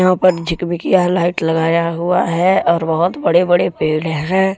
यहां पर झिकबिकिया लाइट लगाया हुआ है और बहुत बड़े बड़े पेड़ हैं।